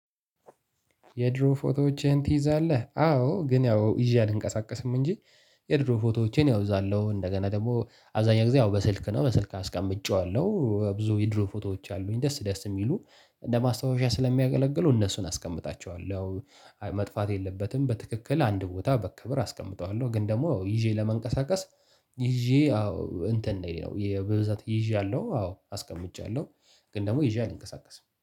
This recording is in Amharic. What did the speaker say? የድሮ ፎቶዎችህን ትይዛለህ አዎ ግን ያው ይዤ አልንቀሳቀስም እንጂ። የድሮ ፎቶዎችህን ያው እዛለሁ እንደገና ደግሞ አብዛኛው ጊዜ ያው በስልክ ነው በስልክ አስቀምጬዋለሁ። ብዙ የድሮ ፎቶዎች አሉኝ። ደስ ደስ የሚሉ እንደ ማስታወሻ ስለሚያገለግሉ እነሱን አስቀምጣቸዋለሁ። መጥፋት የለበትም በትክክል አንድ ቦታ በክብር አስቀምጠዋለሁ። ግን ደግሞ ይዤ ለመንቀሳቀስ። ይዤ አዎ እንትን ነው በብዛት ይዤያለሁ አዎ አስቀምጫለሁ። ግን ደግሞ ይዤ አልንቀሳቀስም